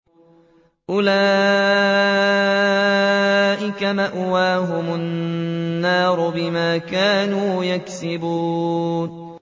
أُولَٰئِكَ مَأْوَاهُمُ النَّارُ بِمَا كَانُوا يَكْسِبُونَ